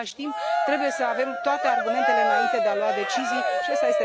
În același timp, trebuie să avem toate argumentele, înainte de a lua decizii, și ăsta